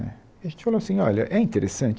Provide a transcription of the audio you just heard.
E a gente falou assim, olha, é interessante?